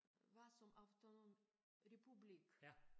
Var som autonom republik